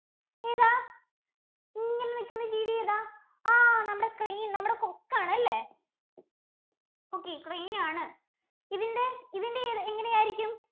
ഏതാ ഇങ്ങനെ നിൽക്കുന്ന ജീവി ഏതാ ആ നമ്മുടെ Crane നമ്മുടെ കൊക്ക് ആണല്ലേ okayCrane ആണ് ഇതിന്‍റെ ഇതിന്‍റെ എങ്ങനെ ആയിരിക്കും?